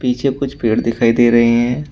पीछे कुछ पेड़ दिखाई दे रहे हैं।